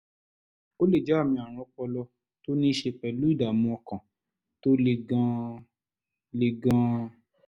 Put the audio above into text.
ó lè jẹ́ àmì ààrùn ọpọlọ tó ní í ṣe pẹ̀lú ìdààmú ọkàn tó le gan-an le gan-an